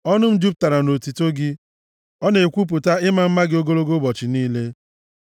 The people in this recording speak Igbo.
Ọnụ m jupụtara nʼotuto gị, ọ na-ekwupụta ịma mma gị ogologo ụbọchị niile.